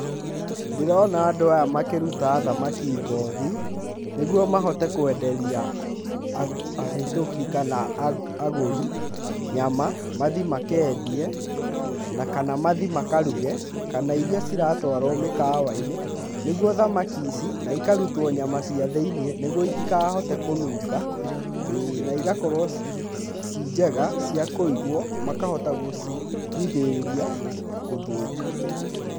Ndĩrona andũ aya makĩruta thamaki ngothi nĩguo mahote kwenderia ahetũki kana agũri nyama mathiĩ makendie na kana mathiĩ makaruge kana iria ciratwarwo mĩkawainĩ nĩguo thamaki ici ona ikarutwo nyama cia thĩiniĩ nĩguo itikahote kũnuga,ĩ na cigakorwo ciĩ njega cia kũigwo makahota gũcigirĩrĩria gũthũka.